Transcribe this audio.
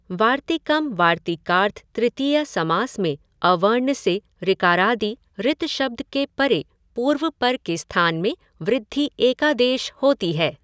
वार्तिकम् वार्तिकार्थ तृतीया समास में अवर्ण से ऋकारादि ऋतशब्द के परे पूर्वपर के स्थान में वृद्धि एकादेश होती है।